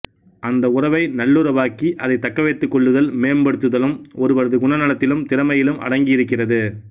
அந்த உறவை நல்லுறவாக்கி அதைத் தக்க வைத்துக் கொள்ளுதலும் மேம்படுத்துதலும் ஒருவரது குணநலத்திலும் திறமையிலும் அடங்கியிருக்கிறது